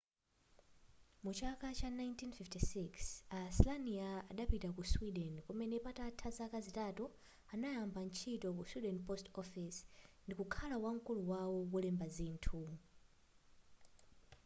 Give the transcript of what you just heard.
muchaka cha 1956 a slania idapita ku sweden kumene patatha zaka zitatu anayamba ntchito ku sweden post office ndi kukhala wamkulu wawo wolemba zinthu